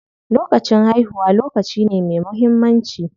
Lokacin haihuwa lokaci ne me muhimmanci.